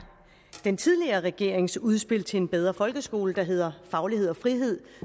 den tidligere regerings udspil til en bedre folkeskole der hedder faglighed og frihed